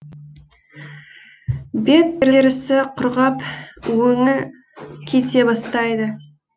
бет терісі құрғап өңі кете бастайды